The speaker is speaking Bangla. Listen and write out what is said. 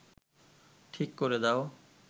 ঠিক করে দাও